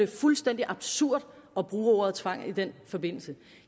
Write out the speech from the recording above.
fuldstændig absurd at bruge ordet tvang i den forbindelse